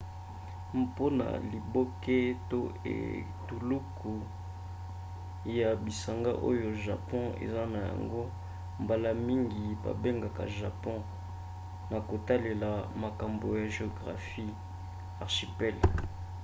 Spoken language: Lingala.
mpona liboke/etuluku ya bisanga oyo japon eza na yango mbala mingi babengaka japon na kotalela makambo ya geographie archipel